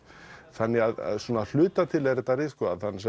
þannig að hluta til er þetta ritskoðað